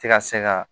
Tɛ ka se ka